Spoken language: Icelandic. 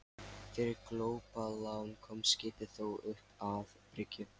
Fyrir glópalán komst skipið þó upp að bryggju.